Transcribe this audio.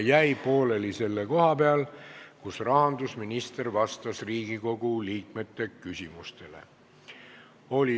Ja pooleli jäi see selle koha peal, kus rahandusminister vastas Riigikogu liikmete küsimustele.